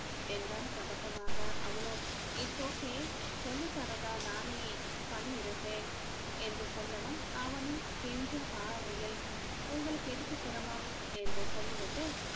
என்றான் பதட்டமாக அவளோ it's okay சொல்லி தரதா நானே பண்ணி இருப்பேன் என்று சொல்லவும் அவனும் கெஞ்சும் பார்வையில் உங்களுக்கு எதுக்கு சிரமம் என்று சொல்லி விட்டு